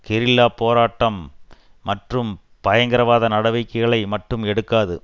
கெரில்லாப் போராட்டம் மற்றும் பயங்கரவாத நடவடிக்கைகளை மட்டும் எடுக்காது